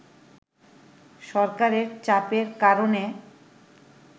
সরকারের চাপের কারণে